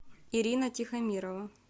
ирина тихомирова